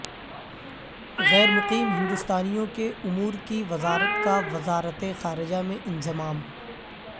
غیر مقیم ہندوستانیوں کے امور کی وزارت کا وزارت خارجہ میں انضمام